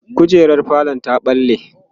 kujerar falo ta ɓalle